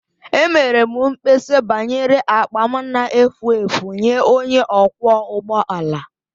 Emere m mkpesa banyere akpa m na-efu efu nye onye ọkwọ ụgbọ ala